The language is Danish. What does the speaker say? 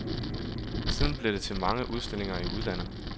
Siden blev det til mange udstillinger i udlandet.